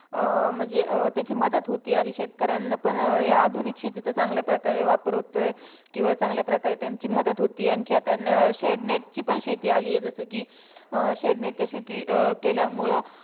अं म्हणजे त्याची मदत होते. आणि शेतकऱ्यांना पण या आधुनिक शेतीचा चांगल्या प्रकारे वापर होतोय. किंवा चांगल्या प्रकारे त्यांची मदत होतेय. आणखी आता अं shade net ची शेती आलीय. जसं की अं shade net च्या शेती केल्यामुळं